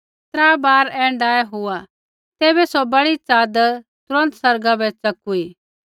त्रा बार ऐण्ढाऐ हुआ तैबै सौ बड़ी चादर तुरन्त आसमाना बै च़ेकुआ